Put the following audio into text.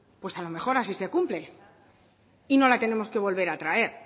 pues a lo mejor así se cumple y no la tenemos que volver a traer